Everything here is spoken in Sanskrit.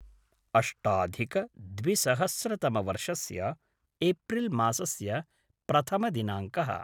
अष्टाधिकद्विसहस्रतमवर्षस्य एप्रिल् मासस्य प्रथमदिनाङ्कः